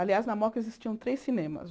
Aliás, na moca existiam três cinemas.